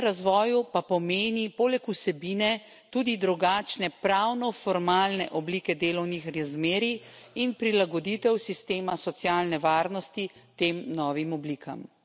Sledenje razvoju pa pomeni poleg vsebine tudi drugačne pravno formalne oblike delovnih razmerij in prilagoditev sistema socialne varnosti tem novim oblikam.